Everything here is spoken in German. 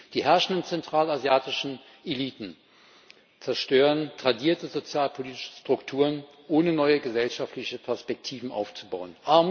Die herrschenden zentralasiatischen Eliten zerstören tradierte sozialpolitische Strukturen, ohne neue gesellschaftliche Perspektiven aufzubauen.